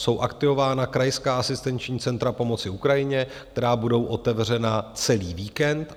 Jsou aktivována krajská asistenční centra pomoci Ukrajině, která budou otevřena celý víkend.